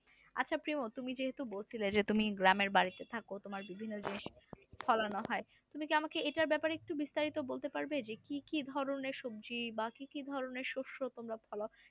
আচ্ছা প্রিমু তুমি যেহেতু বলছিলে যে তুমি গ্রামের বাড়িতে থাকো তোমার বিভিন্ন জিনিস ফলানো হয় তুমি কি আমাকে এটার ব্যাপারে একটু বিস্তারিত বলতে পারবে যে কি কি ধরনের সবজি বা কি কি ধরনের শস্য তোমরা ফলাও?